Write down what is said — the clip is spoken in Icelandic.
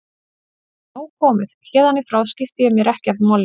Nú er nóg komið, héðan í frá skipti ég mér ekki af málinu.